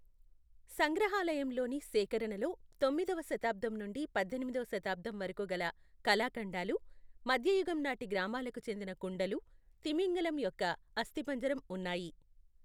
సంగ్రహాలయంలోని సేకరణలో తొమ్మిదవ శతాబ్దం నుండి పద్దెనిమిదవ శతాబ్దం వరకు గల కళాఖండాలు, మధ్యయుగం నాటి గ్రామాలకు చెందిన కుండలు, తిమింగలం యొక్క అస్థిపంజరం ఉన్నాయి.